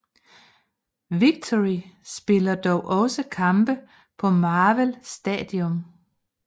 Victory spiller dog også kampe på Marvel Stadium